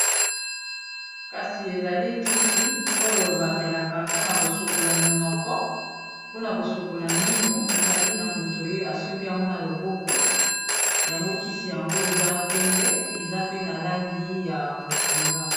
Kasi ezali kisi oyo bamelaka mpona kosokola minoko mpona kosokola mino, ezali na moto oyo asembi yango na loboko yango kisi yango eza pembe eza pe na langi ya bozinga.